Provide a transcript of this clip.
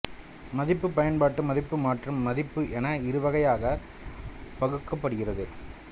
மதிப்பு பயன்பாட்டு மதிப்பு மாற்று மதிப்பு என இருவகையாக பகுக்கப்படுகிறது